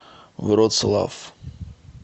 вроцлав